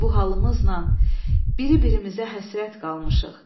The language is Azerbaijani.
Bu halımızla biri birimizə həsrət qalmışıq.